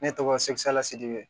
Ne tɔgɔ sekula sedib